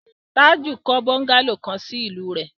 Tájù kọ́ bọ́ńgálò kan sí ìlú rẹ̀.